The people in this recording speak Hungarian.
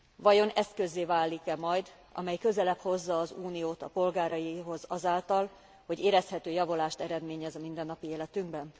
Vajon eszközzé válik e majd, amely közelebb hozza az Uniót a polgáraihoz azáltal, hogy érezhető javulást eredményez a mindennapi életünkben?